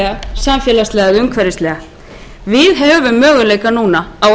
samfélagslega eða hinn umhverfislega við höfum möguleika núna á að eyða þeim ójöfnuði sem hér